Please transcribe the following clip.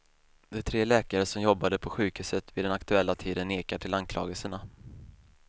De tre läkare som jobbade på sjukhuset vid den aktuella tiden nekar till anklagelserna.